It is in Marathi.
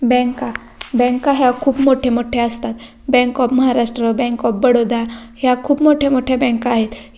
बँका बँका ह्या खूप मोठ्या मोठ्या असतात bank of Maharashtra bank of Baroda ह्या खूप मोठ्या मोठ्या बँका आहेत.